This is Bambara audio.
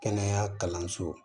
Kɛnɛya kalanso